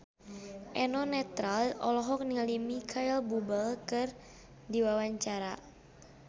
Eno Netral olohok ningali Micheal Bubble keur diwawancara